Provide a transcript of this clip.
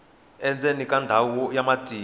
endzeni ka ndhawu ya matimba